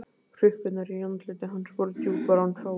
Hrukkurnar í andliti hans voru djúpar en fáar.